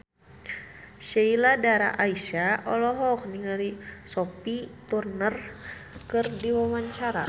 Sheila Dara Aisha olohok ningali Sophie Turner keur diwawancara